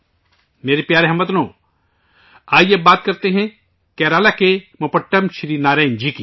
میرے پیارے ہم وطنو، آئیے بات کرتے ہیں ، کیرالہ کے موپٹم سری نارائنن جی کی